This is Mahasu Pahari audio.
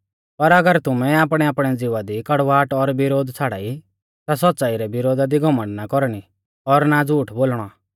पर अगर तुमै आपणैआपणै ज़िवा दी कड़वाहट और विरोध छ़ाड़ाई ता सौच़्च़ाई रै विरोधा दी घमण्ड ना कौरणी और ना झ़ूठ बोलणौ